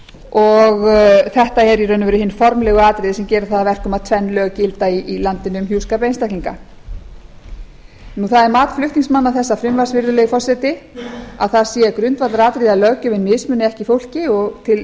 og þetta eru í raun og veru hin formlegu atriði sem gera það að verkum að tvenn lög gilda í landinu um hjúskap einstaklinga það er mat flutningsmanna þessa frumvarps virðulegi forseti að það sé grundvallaratriði að löggjöfin mismuni ekki fólki og til